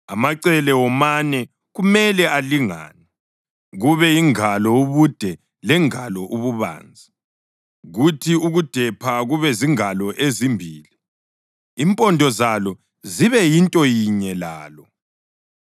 Amacele womane kumele alingane, kube yingalo ubude lengalo ububanzi, kuthi ukudepha kube zingalo ezimbili, impondo zalo zibe yinto yinye lalo.